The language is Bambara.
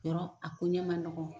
Yarɔ a ko ɲɛ ma nɔgɔn.